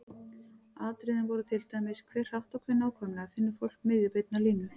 Atriðin voru til dæmis: Hve hratt og hve nákvæmlega finnur fólk miðju beinnar línu?